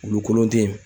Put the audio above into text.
Wulu kolon te yen